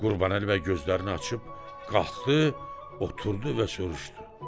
Qurbanəli bəy gözlərini açıb qalxdı, oturdu və soruşdu: